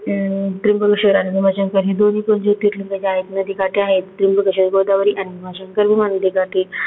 अं त्र्यंबकेश्वर आणि भीमाशंकर हे दोन्ही पण जोतिर्लिंग जे आहेत ते नदी काठी आहेत. त्र्यंबकेश्वर गोदावरी आणि भीमाशंकर भीमा नदी काठी.